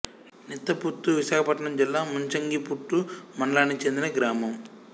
నిత్త పుత్తు విశాఖపట్నం జిల్లా ముంచంగిపుట్టు మండలానికి చెందిన గ్రామం